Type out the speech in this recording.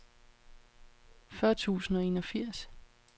fyrre tusind og enogfirs